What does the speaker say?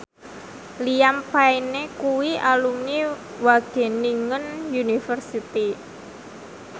Liam Payne kuwi alumni Wageningen University